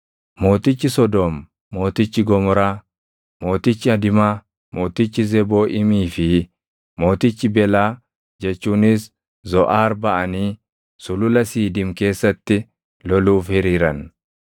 Mootichi Sodoom, mootichi Gomoraa, mootichi Adimaa, mootichi Zebooʼiimii fi mootichi Belaa jechuunis Zoʼaar baʼanii Sulula Siidiim keessatti loluuf hiriiran.